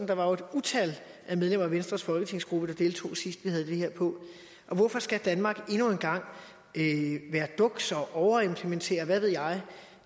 der var jo et utal af medlemmer af venstres folketingsgruppe der deltog sidst vi havde det her på hvorfor skal danmark endnu en gang være duks og overimplementere og hvad ved jeg